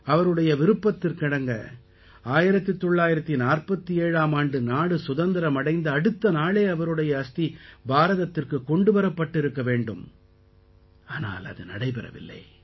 அவருடைய விருப்பத்திற்கிணங்க 1947ஆம் ஆண்டு நாடு சுதந்திரம் அடைந்த அடுத்த நாளே அவருடைய அஸ்தி பாரதத்திற்குக் கொண்டு வரப்பட்டிருக்க வேண்டும் ஆனால் இது நடைபெறவில்லை